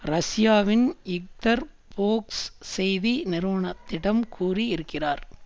ரஷ்யாவின் இக்தர்ஃபோக்ஸ் செய்தி நிறுவனத்திடம் கூறி இருக்கிறார்